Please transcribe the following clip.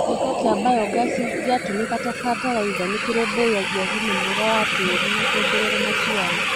gĩko kĩa mbayogasi gĩatũmĩka ta bataraitha nĩkĩrombũiyagia ũgima mwega wa tĩri na kwongerara maciaro.